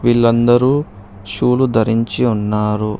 వీళ్ళందరూ షూ లు ధరించి ఉన్నారు.